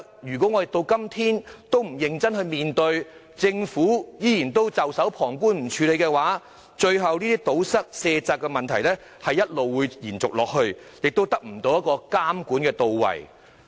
如果到今天政府仍然不認真面對問題，只袖手旁觀，不作處理，最後漏洞無法堵塞，卸責的問題只會一直延續，監管工作亦不到位。